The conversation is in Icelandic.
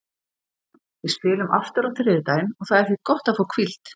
Við spilum aftur á þriðjudaginn og það er því gott að fá hvíld.